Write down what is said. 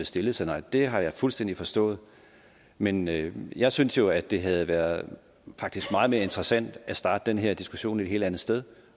stillet så nej det har jeg fuldstændig forstået men jeg jeg synes jo at det faktisk havde været meget mere interessant at starte den her diskussion et helt andet sted